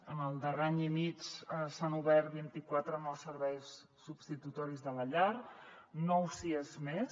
en el darrer any i mig s’han obert vint i quatre nous serveis substitutoris de la llar nou siad més